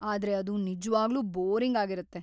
ಆದ್ರೆ ಅದು ನಿಜ್ವಾಗ್ಲೂ ಬೋರಿಂಗ್‌ ಆಗಿರತ್ತೆ.